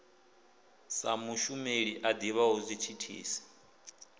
sa mushumeli a ḓivhaho zwithithisi